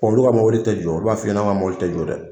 Bɔn olu ga mɔbili tɛ jɔ olu b'a f'i ɲɛnɛ an ga mɔbili tɛ jɔ dɛ